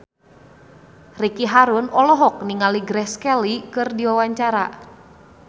Ricky Harun olohok ningali Grace Kelly keur diwawancara